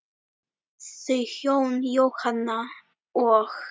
Þau hjón, Jóhanna og